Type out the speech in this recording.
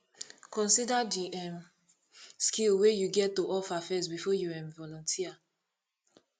consider di um skills wey you get to offer first before you um volunteer